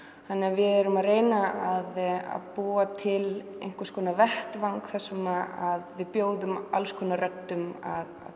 við erum að reyna að búa til einhvers konar vettvang þar sem við bjóðum alls konar röddum að